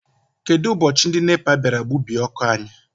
Kedụ ụbọchị ndị NEPA bịara gbubie ọkụ anyị?